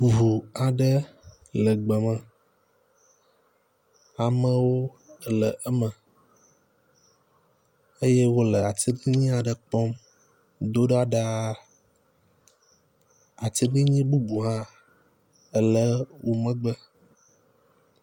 Ŋu aɖe le gbe me, amewo le eme eye wole atiglinyi la kpɔm do ɖa ɖaa. Atiglinyi bubua hã ele wo megbe.